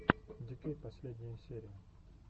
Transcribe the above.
ди кей последняя серия